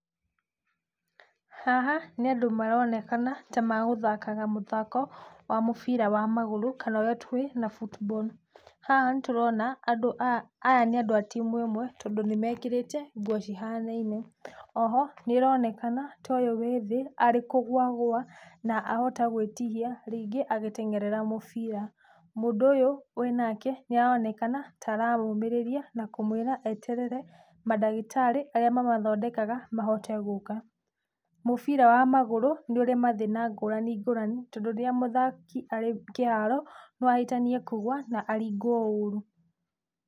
Haha, nĩ andũ maronekana tamegũthakaga mũthako wa mũbira wa magũrũ, kana ũrĩa tũĩ na football Haha nĩtũrona aya nĩ andũ a timũ ĩmwe, tondũ nĩmekĩrĩte nguo cihanaine. Oho, nĩ ĩronekana ta ũyũ wĩthĩ arĩ kũgwa agũa na ahota gwĩtihia rĩngĩ agĩteng'erera mũbira. Mũndũ ũyũ menake nĩ aronekana ta aramũmĩrĩria na kũmwĩra eterere madagĩtarĩ arĩa mamathondekaga mahote gũka. Mũbira wa magũrũ nĩ ũrĩ mathĩna ngũrani ngũrani, tondũ rĩrĩa mũthaki arĩ kĩharo, no ahĩtanie kũgũa na aringwo ũru.